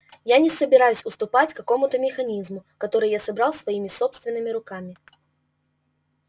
я не собираюсь уступать какому-то механизму который я собрал своими собственными руками